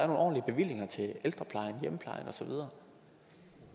ordentlige bevillinger til ældreplejen hjemmeplejen og så videre